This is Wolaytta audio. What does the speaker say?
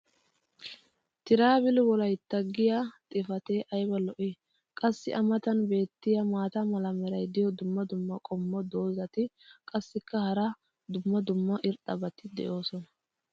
"TRAVEL WOLAITA" giya xifatee ayba lo'ii. qassi a matan beetiya maata mala meray diyo dumma dumma qommo dozzati qassikka hara dumma dumma irxxabati doosona.